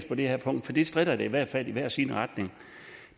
på det her punkt for det stritter i hvert fald i hver sin retning